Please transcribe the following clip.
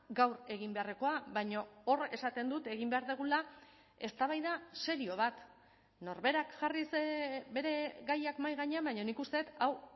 gaur egin beharrekoa baina hor esaten dut egin behar dugula eztabaida serio bat norberak jarriz bere gaiak mahai gainean baina nik uste dut hau